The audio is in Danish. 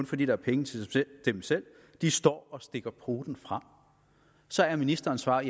fordi der er penge til dem selv de står og stikker poten frem så er ministerens svar at